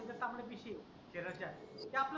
ज्या पाहिजे त्या पेशी आहे आपल्या शरीराच्या.